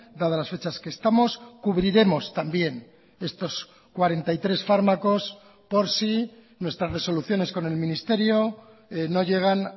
dadas las fechas que estamos cubriremos también estos cuarenta y tres fármacos por si nuestras resoluciones con el ministerio no llegan